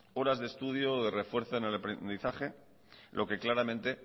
horas de estudios refuerzan el aprendizaje lo que claramente